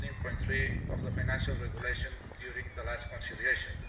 15.3 of the Financial Regulation during the last conciliation.